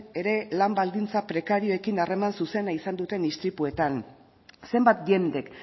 ere lan baldintza prekarioekin harreman zuzena izan duten istripuetan zenbat jendek